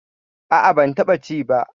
A'a, ban taɓa ci ba.